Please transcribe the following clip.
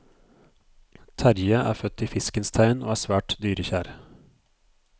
Terrie er født i fiskens tegn og er svært dyrekjær.